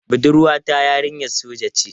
Budurwa ta yarinyar soja ce.